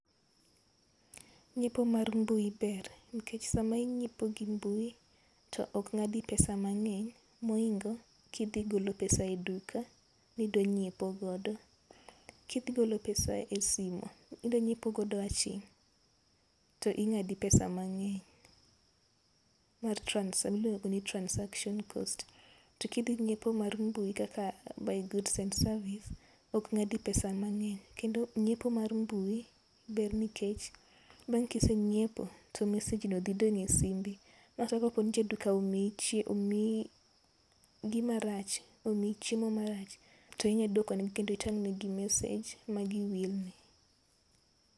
Ngiepo mag mbui ber, nikech seche ma ingiepo e mbui to ok ng'adi pesa mang'eny mo oingo ki idhi golo pesa e duka ni idwa ngiepo godo. Ki idhi golo pesa e simo idwa ngiepo godo aching'to ing'adi pesa mangeny mar transaction, iluongo ni transaction cost. To ki idhi ngiepo mar mbui kaka buy goods and service ok ng'adi pesa mang'eny kendo ngiepo mar mbui ber nikech bang' ki isengiepo to message no dhi donjo e simbi. omiyi gi marach, omiyi chiemo ma rach tio inya duoko ne gi kendo itang ne gi message ma gi wil ni.